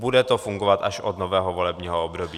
Bude to fungovat až od nového volebního období.